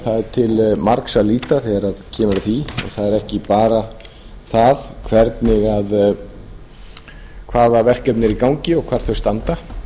til margs að líta þegar kemur að því og það er ekki bara það hvaða verkefni eru í gangi og hvar þau standa